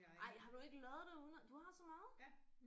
Ej har du ikke lavet derude du har så meget